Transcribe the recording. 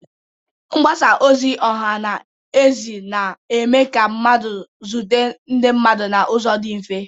Mgbasa ozi ọha na eze na-eme ka mmadụ zute ndị mmadụ n'ụzọ dị mfe.